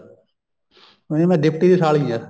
ਨਹੀਂ ਮੈਂ ਡਿਪਟੀ ਦੀ ਸਾਲੀ ਹਾਂ